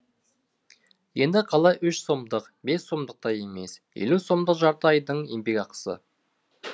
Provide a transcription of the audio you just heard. енді қалай үш сомдық бес сомдық та емес елу сомдық жарты айдың еңбекақысы